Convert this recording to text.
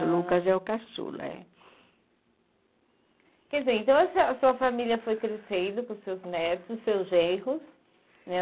O Lucas é o caçula, é. Quer dizer, então a sua a sua família foi crescendo com seus netos e seus genros, né?